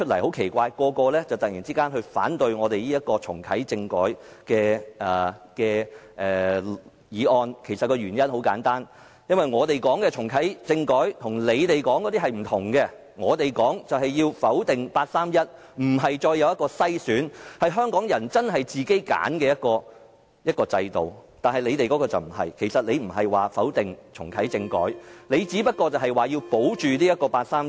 很奇怪的是，建制派議員今天突然反對重啟政改的議案，原因很簡單，因為我們所說的重啟政改與他們說的不同，我們說的就是否定八三一框架，不再有篩選，是香港人真正自行揀選的一個制度，但他們的就不是這樣，他們不否定重啟政改，只是要保護八三一框架。